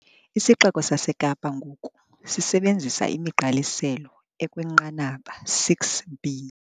IsiXeko saseKapa ngoku sisebenzisa imigqaliselo ekwinqanaba 6B.